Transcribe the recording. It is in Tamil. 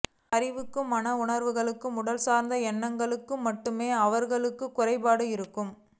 அறிவுக்கும் மன உணர்வுகளுக்கும் உடல் சார்ந்த எண்ணங்களுக்கும் மட்டுமே அவர்களுக்கு குறைபாடு இருக்கும்